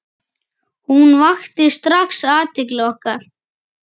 Hún vakti strax athygli okkar.